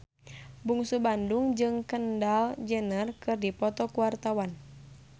Bungsu Bandung jeung Kendall Jenner keur dipoto ku wartawan